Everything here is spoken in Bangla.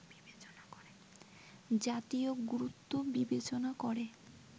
জাতীয় গুরুত্ব বিবেচেনা করে